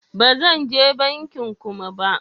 Ba zan je bankin Kuma ba.